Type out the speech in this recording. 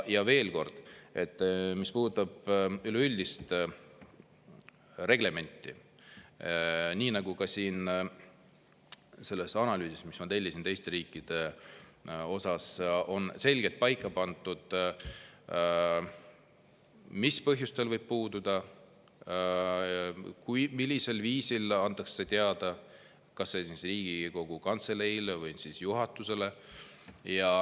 Ja veel kord, mis puudutab üleüldist reglementi – nii nagu ka selles analüüsis, mis ma tellisin teiste riikide kohta –, on selgelt paika pandud, mis põhjustel võib puududa, millisel viisil antakse teada kas Riigikogu Kantseleile või juhatusele.